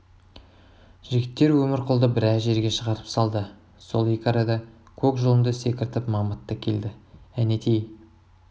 жігіттер өмірқұлды біраз жерге шығарып салды сол екі арада көк жұлынды секіртіп мамыт та келді әнетей